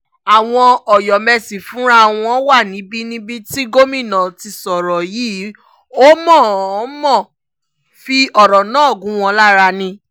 àwọn ọ̀yọ́mẹ́sì fúnra wọn wà níbi níbi tí gomina ti sọ̀rọ̀ yìí ò mọ̀-ọ́n-mọ̀ fi ọ̀rọ̀ náà gún wọn lára ni